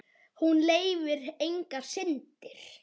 Hún leyfir engar syndir.